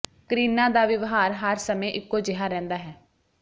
ਕਰੀਨਾ ਦਾ ਵਿਵਹਾਰ ਹਰ ਸਮੇਂ ਇਕੋ ਜਿਹਾ ਰਹਿੰਦਾ ਹੈ